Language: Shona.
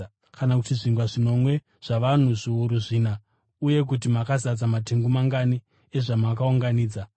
Kana kuti zvingwa zvinomwe zvavanhu zviuru zvina uye kuti makazadza matengu mangani ezvamakaunganidza?